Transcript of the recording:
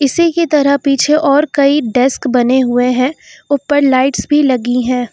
इसी की तरह पीछे और कई डेस्क बने हुए हैं ऊपर लाइट्स भी लगी हैं।